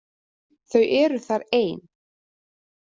Þau eru þar ein.